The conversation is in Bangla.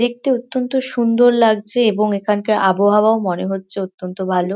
দেখতে অত্যন্ত সুন্দর লাগছে এবং এখানকার আবহাওয়াও মনে হচ্ছে অত্যন্ত ভালো।